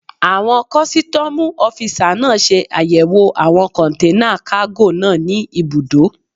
Àwọn kọ́sítọ́mù ọ́fisà náà ṣe àyẹ̀wò àwọn kọ̀nténà kágò náà ní ibùdó